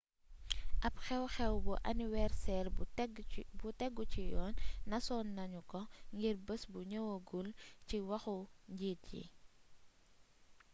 ab xew xew bu aniwerseer bu tegu ci yoon nasoon nanu ko ngir bes bu ñëwëgul ci waxu njiit yi